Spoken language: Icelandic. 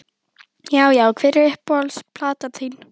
Já Já Hver er uppáhalds platan þín?